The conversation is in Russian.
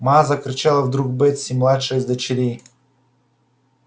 ма закричала вдруг бетси младшая из дочерей